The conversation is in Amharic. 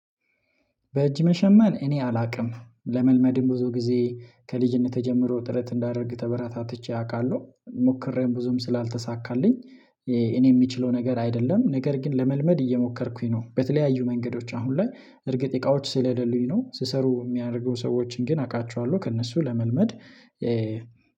በእጅ መሸመን እኔ አላውቅም ለመልመድም ብዙ ጊዜ ከልጅነት ተጀምሮ ጥረት እንዳደርግ ተበረታ ትቼ አውቃለሁ ሞክሬም ብዙም ስላልተሳካልኝ። እኔ የምችለው ነገር አይደለም ነገር ግን ለመልመድ እየሞከርኩኝ ነው። በተለያዩ መንገዶች አሁን ላይ እርግጥ እቃዎች ስለሌሉኝ ነው ሲሰሩ የሚያደርጉ ሰዎችን ግን አውቃችኋለሁ ከእነሱ ለመልመድ።